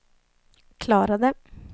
klarade